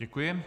Děkuji.